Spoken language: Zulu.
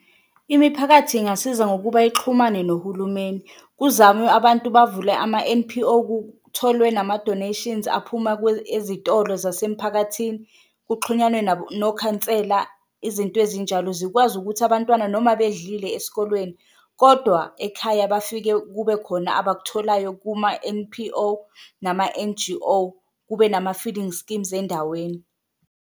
Imiphakathi ingasiza ngokuba ixhumane nohulumeni kuzamwe abantu bavule ama-N_P_O kutholwe nama-donations aphuma ezitolo zasemphakathini kuxhunyanwe nokhansela, izinto ezinjalo zikwazi ukuthi abantwana noma bedlile esikolweni. Kodwa ekhaya bafike kube khona abakutholayo kuma-N_P_O nama-N_G_O, kube nama-feeding schemes endaweni.